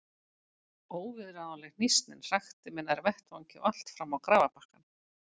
Óviðráðanleg hnýsnin hrakti mig nær vettvangi og allt fram á grafarbakkann.